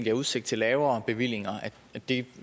er udsigt til lavere bevillinger og det